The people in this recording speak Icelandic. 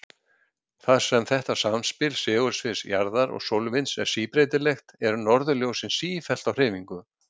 Þar sem þetta samspil segulsviðs jarðar og sólvinds er síbreytilegt, eru norðurljósin sífellt á hreyfingu.